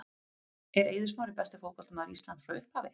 Er Eiður Smári besti fótboltamaður Íslands frá upphafi?